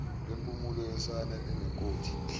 lwempumulo yosana enenkothi